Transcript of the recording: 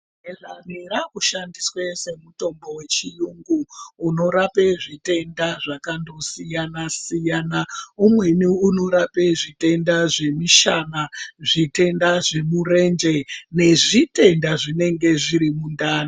Aloe vera yakushandiswe semutombo wechiyungu unorape zvitenda zvakadosiyana siyana umweni unorape zvitenda zvemushana, zvitenda zvemurenje nezvitenda zvinenge zvirimundani.